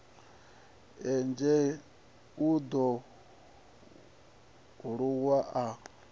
engedzea u ḓo aluwa a